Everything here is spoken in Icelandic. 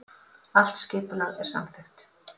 Allt skipulag er samþykkt